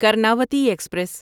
Karnavati express